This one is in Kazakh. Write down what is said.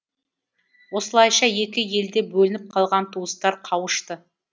осылайша екі елде бөлініп қалған туыстар қауышты